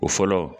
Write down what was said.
O fɔlɔ